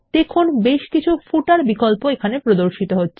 দেখুন বেশকিছু পাদলেখ বিকল্প প্রদর্শিত হচ্ছে